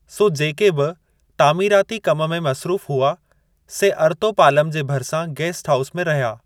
सो जेके बि तामीराती कम में मसरूफ़ु हुआ से अर्तो पालम जे भरिसां गैस्ट हाऊस में रहिया।